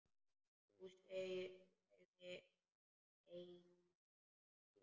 Jú, sagði Eyrún, jú.